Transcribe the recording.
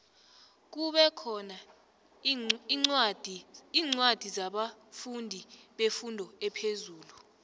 kube khona incwadi zabafundi befundo ephezulu